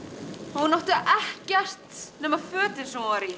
hún átti ekkert nema fötin sem hún var í